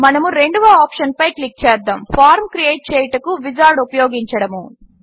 మనము రెండవ ఆప్షన్పై క్లిక్ చేద్దాము ఫార్మ్ క్రియేట్ చేయుటకు విజార్డ్ ఉపయోగించడము